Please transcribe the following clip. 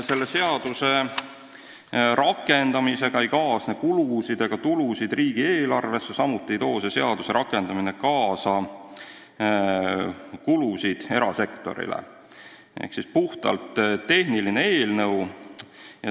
Selle seaduse rakendamisega ei kaasne riigieelarvele kulusid ega tulusid, samuti ei too selle seaduse rakendamine kaasa kulusid erasektorile, see on puhtalt tehniline eelnõu.